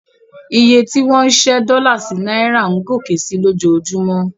Iye tí wọ́n ń ṣẹ́ dọ́là sí náírà ń gòkè sí i lójoojúmọ́.